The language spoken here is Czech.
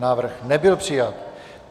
Návrh nebyl přijat.